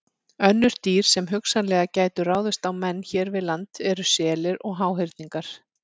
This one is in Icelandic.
Önnur dýr sem hugsanlega gætu ráðist á menn hér við land eru selir og háhyrningar.